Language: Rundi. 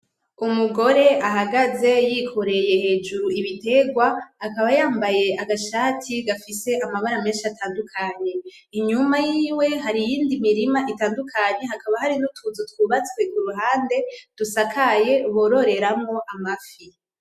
Umugore ahagaze yikoreye hejuru ibitegwa akaba yambaye agashati gafise amabara menshi atandukanye inyuma yiwe hari iyindi mirima itandukanye hakaba hari utundi tuzu twubatse kuruhande dusakaye bororeramwo amafi.